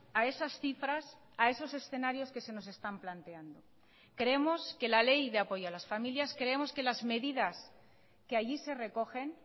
a esas cifras a esos escenarios que se nos están planteando creemos que la ley de apoyo a las familias creemos que las medidas que allí se recogen